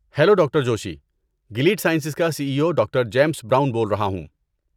Hello doctor Joshi. Gilead Sciences کا C E O doctor James Brown بول رہا ہوں۔